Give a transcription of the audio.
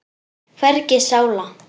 Hvergi sála.